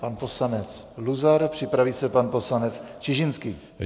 Pan poslanec Luzar, připraví se pan poslanec Čižinský.